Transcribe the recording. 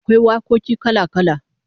Akwai wakoki kala-kala